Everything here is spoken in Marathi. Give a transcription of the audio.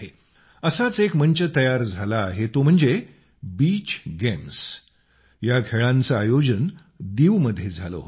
असाच एक मंच तयार झाला आहे तो म्हणजे बीच गेम्स या खेळांचं आयोजन दीवमध्ये झालं होतं